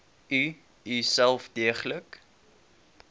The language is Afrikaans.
u uself deeglik